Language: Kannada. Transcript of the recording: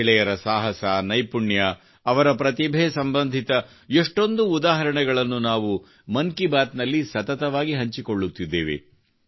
ಮಹಿಳೆಯರ ಸಾಹಸ ನೈಪುಣ್ಯ ಅವರ ಪ್ರತಿಭೆ ಸಂಬಂಧಿತ ಎಷ್ಟೊಂದು ಉದಾಹರಣೆಗಳನ್ನು ನಾವು ಮನ್ ಕಿ ಬಾತ್ ನಲ್ಲಿ ಸತತವಾಗಿ ಹಂಚಿಕೊಳ್ಳುತ್ತಿದ್ದೇವೆ